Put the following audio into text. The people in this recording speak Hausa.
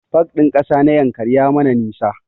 Pak ɗin ƙasa na Yankari ya mana nisa